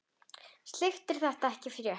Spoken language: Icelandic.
Slíkt er því ekki frétt.